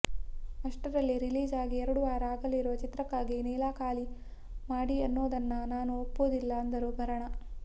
ಅಷ್ಟರಲ್ಲೇ ರಿಲೀಸ್ ಆಗಿ ಎರಡು ವಾರ ಆಗಿರುವ ಚಿತ್ರಕ್ಕಾಗಿ ನೀಲಾ ಖಾಲಿ ಮಾಡಿ ಅನ್ನೋದನ್ನ ನಾನು ಒಪ್ಪೋದಿಲ್ಲ ಅಂದರು ಭರಣಾ